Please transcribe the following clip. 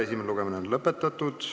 Esimene lugemine on lõpetatud.